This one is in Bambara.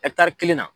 kelen na